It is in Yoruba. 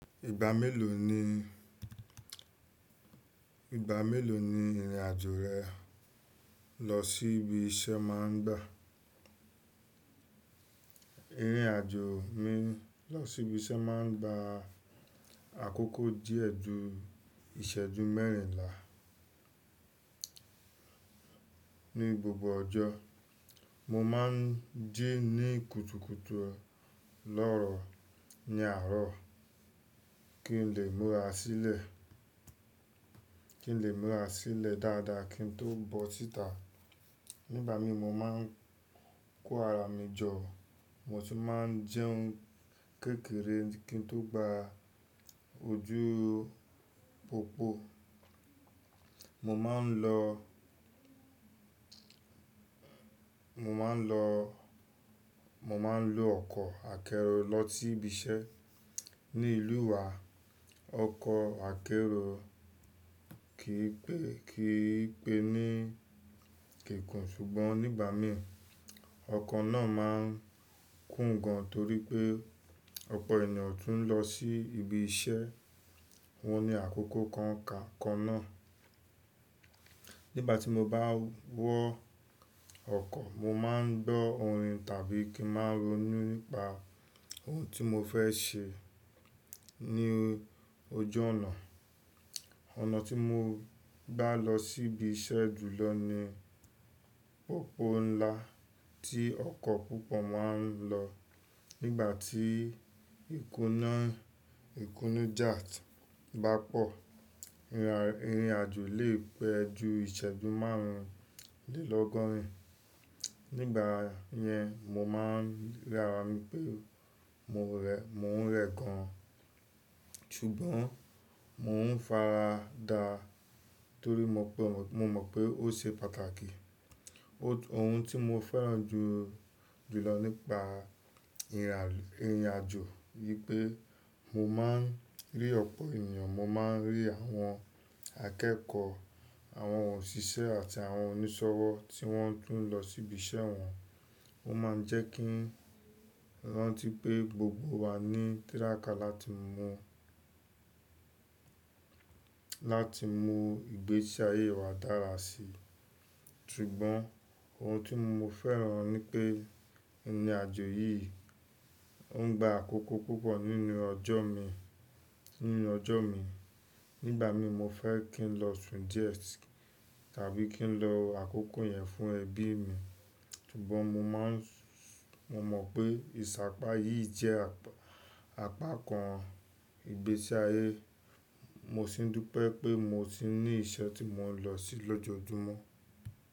Ìgbà mélòó ni, ìgbà mélòó ni ìrìn àjò rẹ lọ sí ibi iṣẹ́ máa ń gba? Ìrìnàjò mi lọ sí ibi iṣẹ́ máa ń gba àkókò díẹ̀ ju ìṣẹ́jú mẹ́rìnlá. Ni gbogbo ọjọ́, mo máa ń jí ní kùtùkùtù lọ́ọ̀rọ̀ ní àárọ̀ kí n lè múra sílẹ̀, kí n lè múra sílẹ̀ dáadáa kí n tó bọ́ síta. Nígbà mi mo máa ń kó ara mi jọ, mo sì máa ń jẹun kékeré kí n tó gba ojú pópó. Mo máa ń lo, mo máa ń lo, mo máa ń lọ ọkọ̀ akẹ́rù lọ sí ibi iṣẹ́. Ni ìlú wa ọkọ̀ akẹ́ro kì í pé, kì í pé ní kéèkun. Ṣùgbọ́n nígbà mí, ọkọ̀ náà máa ń kún gan torí pé ọ̀pọ̀ ènìyàn tún ń lọ sí ibi iṣẹ́ wọn ní àkókò kan ka-kan náà. Nígbà tí mo bá wọ ọkọ̀, mo máa ń gbọ́ orin tàbí kí n máa ronú nípa ohun tí mo fẹ́ ṣe ní oju ọ̀nà. Ọ̀nà tí mo bá lọ sí ibi iṣẹ́ jùlọ ni popo ńlá tí ọkọ̀ púpọ̀ máa ń lọ. Nígbà tí ìkúná, ìkúnú jáàtì bá pọ̀, ìrìnàjò lè pẹ́ ju ìṣẹ́jú márùndínlọ́gọ́rìn. Nígbà yẹn, mo máa ń rí ara mi pé mo re, mo n rẹ gan. Ṣùgbọ́n mò ń farada torí mo mọ̀ pé ó ṣe pàtàkì. O tun Ohun tí mo fẹ́ràn jù jùlọ nípa irinà, ìrìnàjò, wípé mo máa ń rí ọ̀pọ̀ ènìyàn. Mo máa ń rí àwọn akẹ́kọ̀ọ́, àwọn òṣìṣẹ́ àti àwọn onísọ̀wọ́ tí wọ́n tún ń lọ sí ibi iṣẹ́ wọn. Ó máa ń jẹ́kí wọn rántí pé gbogbo wa ní tírákà láti mú, láti mú ìgbésí ayé wa dára si. Ṣùgbọ́n ohun tí mo fẹ́ràn ní pé ìrìnàjò yìí ó ń gba àkókò púpọ̀ nínú ọjọ́ mi, nínú ọjọ́ mi. Nígbà mi mo fẹ́ kí n lọ sun díẹ̀ si, tàbí kí n lo àkókò yẹn fún ẹbí mi. Ṣùgbọ́n mo máa ń, mo mọ̀ pé ìṣàpá yìí jẹ́ àpá kan ìgbésí ayé. Mo sì dúpẹ́ pé mo sì ní iṣẹ́ tí mò ń lọ sí lọ́jojúmọ́.